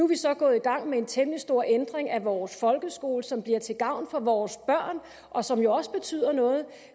vi så gået i gang med en temmelig stor ændring af vores folkeskole som bliver til gavn for vores børn og som jo også betyder noget